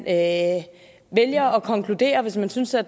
at konkludere hvis man synes at